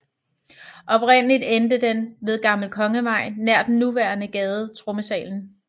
Oprindeligt endte den ved Gammel Kongevej nær den nuværende gade Trommesalen